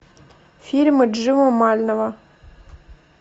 фильмы джива мального